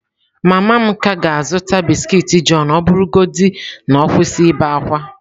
Mama m ka ga-azụta biskiiti john ọ bụrụgodị na ọ kwụsị ibe ákwá.